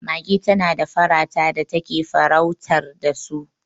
mage tana da farata da take farautar da su